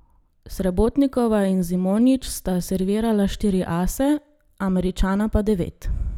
Srebotnikova in Zimonjić sta servirala štiri ase, Američana pa devet.